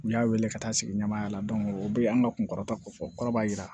U y'a wele ka taa sigi ɲɛmaya la o bɛ an ka kunkɔrɔta kofɔ kɔrɔ b'a jira